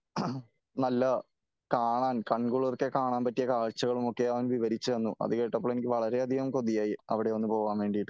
നല്ല കാണാൻ കൺകുളിർക്കെ കാണാൻ പറ്റിയ കാഴ്ച്ചകളുമൊക്കെ അവൻ വിവരിച്ചു തന്നു . അത് കേട്ടപ്പോൾ എനിക്ക് വളരെയധികം കൊതിയായി അവിടെയൊന്ന് പോകാൻ വേണ്ടിയിട്ട് .